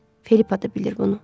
Felipa da bilir bunu.